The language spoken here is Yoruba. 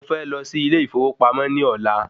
Mo fẹ́ lọ sí ilé ìfowópamọ́ ní ọ̀la